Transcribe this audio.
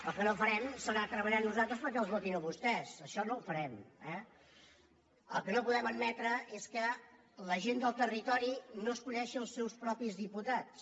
el que no farem serà treballar nosaltres perquè els votin a vostès això no ho farem eh el que no podem admetre és que la gent del territori no esculli els seus propis diputats